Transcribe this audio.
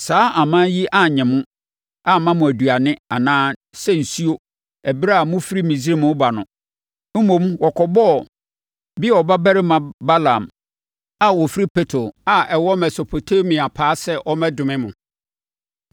Saa aman yi annye mo, amma mo aduane anaa sɛ nsuo ɛberɛ a mofiri Misraim reba no. Mmom, wɔkɔbɔɔ Beor babarima Balaam a ɔfiri Petor a ɛwɔ Mesopotamia paa sɛ ɔmmɛdome mo.